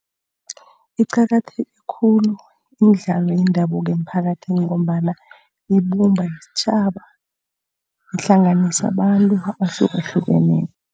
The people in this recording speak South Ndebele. Iqakatheke khulu imidlalo yendabuko emiphakathini ngombana ibumba isitjhaba, ihlanganisa abantu abahlukahlukeneko.